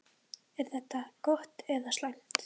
Er þetta gott eða slæmt?